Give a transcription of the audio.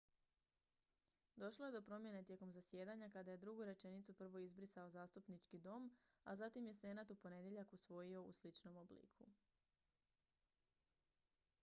došlo je do promjene tijekom zasjedanja kada je drugu rečenicu prvo izbrisao zastupnički dom a zatim je senat u ponedjeljak usvojio u sličnom obliku